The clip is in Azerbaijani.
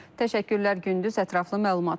Təşəkkürlər, Gündüz, ətraflı məlumata görə.